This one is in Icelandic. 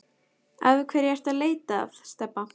Af hverju ertu að leita að Stebba